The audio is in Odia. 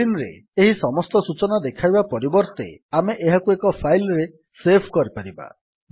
ସ୍କ୍ରୀନ୍ ରେ ଏହି ସମସ୍ତ ସୂଚନା ଦେଖାଇବା ପରିବର୍ତ୍ତେ ଆମେ ଏହାକୁ ଏକ ଫାଇଲ୍ ରେ ସେଭ୍ କରିପାରିବା